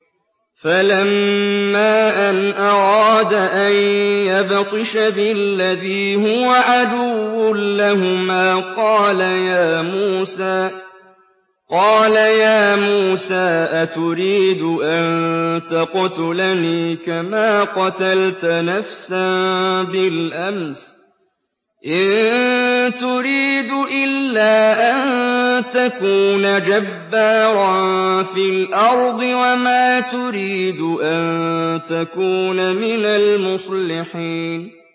فَلَمَّا أَنْ أَرَادَ أَن يَبْطِشَ بِالَّذِي هُوَ عَدُوٌّ لَّهُمَا قَالَ يَا مُوسَىٰ أَتُرِيدُ أَن تَقْتُلَنِي كَمَا قَتَلْتَ نَفْسًا بِالْأَمْسِ ۖ إِن تُرِيدُ إِلَّا أَن تَكُونَ جَبَّارًا فِي الْأَرْضِ وَمَا تُرِيدُ أَن تَكُونَ مِنَ الْمُصْلِحِينَ